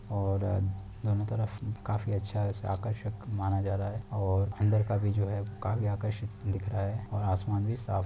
और दोनो तरफ काफी अच्छा आकर्षक माना जा रहा है और अंदर का भी जो है वो काफी आकर्षित दिख रहा है और आसमान भी साफ --